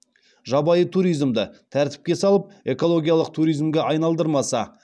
жабайы туризмді тәртіпке салып экологиялық туризмге айналдырмаса